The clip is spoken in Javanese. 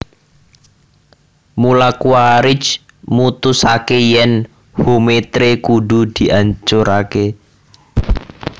Mula Quaritch mutusaké yèn Hometree kudu diancuraké